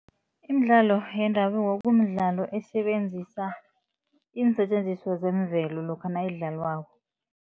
Imidlalo yendabuko kumdlalo esebenzisa iinsetjenziswa zemvelo lokha nayidlalwako.